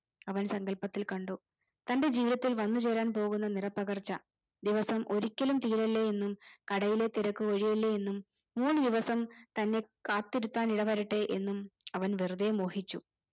അവൻ സങ്കൽപ്പത്തിൽ കണ്ടു തന്റെ ജീവിതത്തിൽ വന്നു ചേരാൻ പോവുന്ന നിറപകർച്ച ദിവസം ഒരിക്കലും തീരല്ലേയെന്നും കടയിലെ തിരക്ക് ഒഴിയല്ലേയെന്നും ഈ ദിവസം തന്നെ കാത്തിരുത്താൻ ഇടവരട്ടെ എന്നും അവൻ വെറുതെ മോഹിച്ചു